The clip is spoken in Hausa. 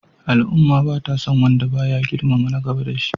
Al'umma ba sa son wanda ba ya girmama na gaba da shi.